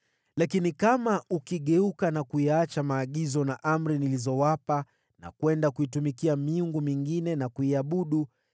“Lakini kama ukigeuka na kuyaacha maagizo na amri nilizowapa na kwenda kuitumikia miungu mingine na kuiabudu,